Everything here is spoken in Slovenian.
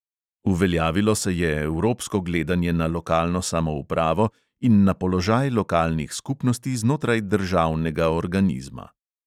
Uveljavilo se je evropsko gledanje na lokalno samoupravo in na položaj lokalnih skupnosti znotraj državnega organizma.